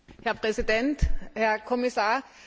Herr Präsident, Herr Kommissar!